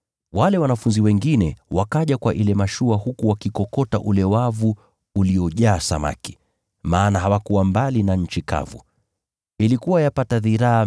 Wale wanafunzi wengine wakaja kwa ile mashua huku wakikokota ule wavu uliyojaa samaki, maana hawakuwa mbali na nchi kavu, ilikuwa yapata dhiraa 200